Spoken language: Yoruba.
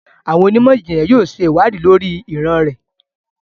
Awọn onimọ-jinlẹ yóò ṣe iwadii lori iran rẹ